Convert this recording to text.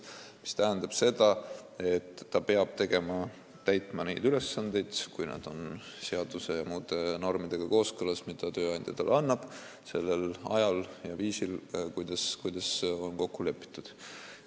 See tähendab seda, et töötaja peab täitma neid ülesandeid – kui need on seaduse ja muude normidega kooskõlas –, mida tööandja talle annab, sellel ajal ja viisil, nagu on kokku lepitud.